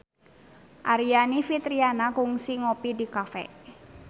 Aryani Fitriana kungsi ngopi di cafe